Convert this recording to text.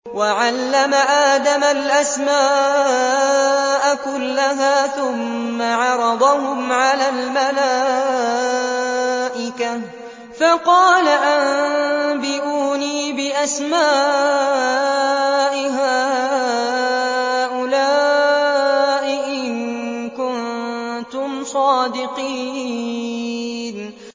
وَعَلَّمَ آدَمَ الْأَسْمَاءَ كُلَّهَا ثُمَّ عَرَضَهُمْ عَلَى الْمَلَائِكَةِ فَقَالَ أَنبِئُونِي بِأَسْمَاءِ هَٰؤُلَاءِ إِن كُنتُمْ صَادِقِينَ